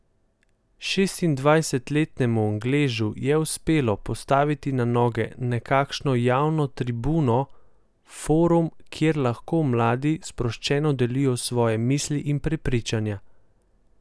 Šestindvajsetletnemu Angležu je uspelo postaviti na noge nekakšno javno tribuno, forum, kjer lahko mladi sproščeno delijo svoje misli in prepričanja.